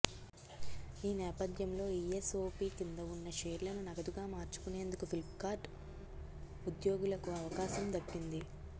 ఈ నేపథ్యంలో ఈఎస్ఓపీ కింద ఉన్న షేర్లను నగదుగా మార్చుకునేందుకు ఫ్లిప్కార్ట్ ఉద్యోగులకు అవకాశం దక్కింది